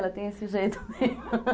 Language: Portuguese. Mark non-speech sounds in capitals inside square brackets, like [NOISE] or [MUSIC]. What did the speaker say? Ela tem esse jeito mesmo [LAUGHS]